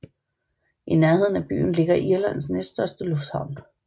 I nærheden af byen ligger Irlands næststørste lufthavn